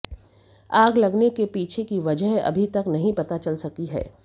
आग लगने के पीछे की वजह अभी तक नहीं पता चल सकी है